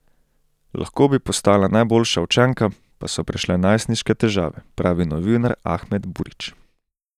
Lahko bi postala najboljša učenka, pa so prišle najstniške težave, pravi novinar Ahmed Burić.